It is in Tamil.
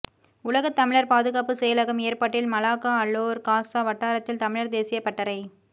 உலகத் தமிழர் பாதுகாப்பு செயலகம் ஏற்பாட்டில் மலாக்கா அலோர் காசா வட்டாரத்தில் தமிழர் தேசியப் பட்டறை